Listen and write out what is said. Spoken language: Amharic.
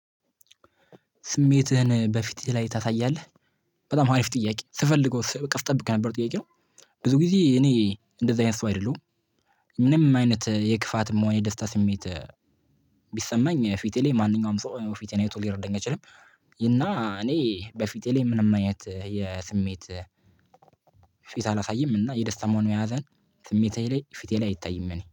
ስሜትህን በፊትህ ላይ ታሳያለህ። በጣም አሪፍ ጥያቄ ስፈልገው ቀስ ስጠብቅ የነበረው ጥያቄ ነው። ብዙ ጊዜ እኔ እንደዚህ አይነት ሰው አይደለሁም። ምንም አይነት የክፋት የመሆኔ ደስታ ስሜት። ፊቴ ላይ ማንኛውም ሰው ፊቴን አይቶ ሊረዳኝ አይችልም። እና እኔ በፊቴ ላይ ምንም አይነት የስሜት ፊት አላሳይም። እና የደስታ ሆን ያሀዘን ስሜቴ ላይ ፊቴ ላይ አይታይም እኔ